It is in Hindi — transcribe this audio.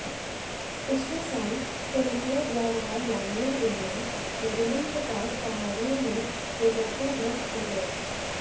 पिछले साल कोलंबिया जा रहा लामिया विमान मेडेलिन के पास पहाड़ियों में दुर्घटनाग्रस्त हो गया